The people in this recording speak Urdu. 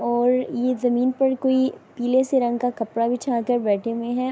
اور یہ جمین پر کوئی پیلے سے رنگ کا کپڑا بچھاکر بیٹھے ہوئے ہے۔